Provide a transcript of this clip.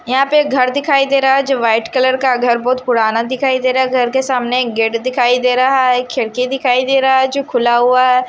यहाँ पे एक घर दिखाई दे रहा हैं जो व्हाइट कलर का घर बहोत पुराना दिखाई दे रहा हैं घर के सामने एक गेट दिखाई दे रहा हैं खिड़की दिखाई दे रहा हैं जो खुला हुआ हैं।